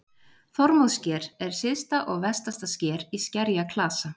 Þormóðssker er syðsta og vestasta sker í skerjaklasa.